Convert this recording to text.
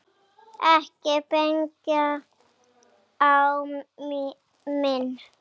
Ekki benda á mig